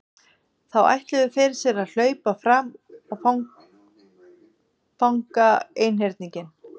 Þá ætluðu þeir sér að hlaupa fram og fanga einhyrninginn.